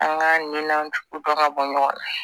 An ka nan tugu dɔn ka bɔ ɲɔgɔn na